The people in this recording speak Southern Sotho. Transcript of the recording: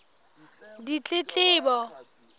ditletlebo